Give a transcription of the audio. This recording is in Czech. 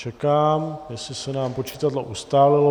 Čekám, jestli se nám počitadlo ustálilo.